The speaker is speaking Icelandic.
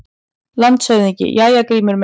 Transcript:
LANDSHÖFÐINGI: Jæja, Grímur minn!